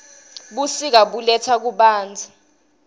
busika buletsa kubanotza